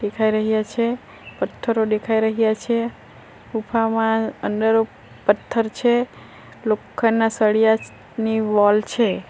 દેખાઈ રહ્યા છે પથ્થરો દેખાઈ રહ્યા છે ગુફામાં અંદર પથ્થર છે લોખંડના સળિયાની વોલ છે.